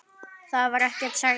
Það var ekkert, segir mamma.